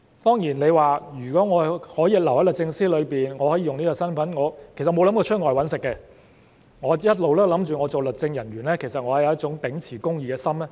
當然，他們留在律政司便可以使用這身份，而從未想離職到外謀生，一直想着成為律政人員是為了秉持公義的心。